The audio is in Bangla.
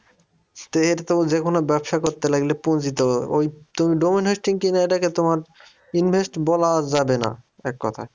তো এটা তো যেকোনো ব্যবসা করতে লাগলে পুঁজি তো ওই তুমি domain hosting কিনে এটাকে তোমার invest বলা যাবে না এক কথায়।